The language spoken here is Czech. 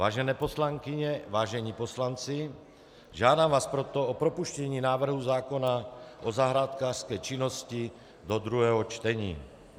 Vážené poslankyně, vážení poslanci, žádám vás proto o propuštění návrhu zákona o zahrádkářské činnosti do druhého čtení.